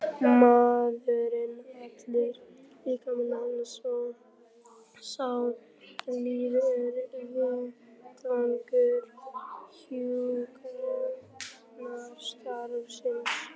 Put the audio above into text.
Maðurinn allur, líkami hans og sálarlíf er vettvangur hjúkrunarstarfsins.